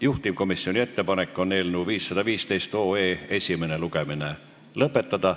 Juhtivkomisjoni ettepanek on eelnõu 515 esimene lugemine lõpetada.